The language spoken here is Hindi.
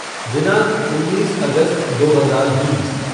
दिनांक उन्नीस अगस्त दो हज़ार बीस